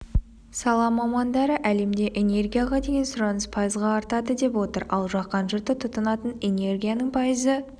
сала мамандары әлемде энергияға деген сұраныс пайызға артады деп отыр ал жаһан жұрты тұтынатын энергияның пайызы